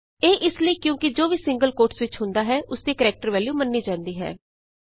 ਇਹ ਇਸ ਲਈ ਕਿਉਂਕਿ ਜੋ ਵੀ ਸਿੰਗਲ ਕੋਟਸ ਵਿਚ ਹੁੰਦਾ ਹੈ ਉਸਦੀ ਕਰੈਕਟਰ ਵੈਲਯੂ ਮੰਨੀ ਜਾਂਦੀ ਹੈ